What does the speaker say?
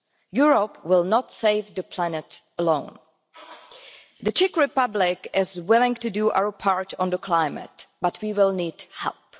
Europe will not save the planet alone. The Czech Republic is willing to do our part for the climate, but we will need help.